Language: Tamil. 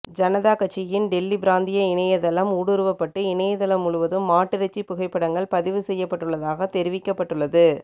ஜனதா கட்சியின் டெல்லி பிராந்திய இணையதளம் ஊடுருவப்பட்டு இணையதளம் முழுவதும் மாட்டிறைச்சி புகைப்படங்கள் பதிவு செய்யப்பட்டுள்ளதாக தெரிவிக்கப்பட்டுள்ளது